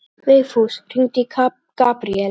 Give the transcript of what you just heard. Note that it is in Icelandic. Vigfús, hringdu í Gabriel.